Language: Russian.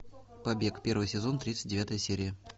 побег первый сезон тридцать девятая серия